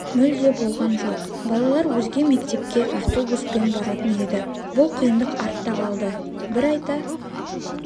мүлде болған жоқ балалар өзге мектепке автобуспен баратын еді бұл қиындық артта қалды бір айта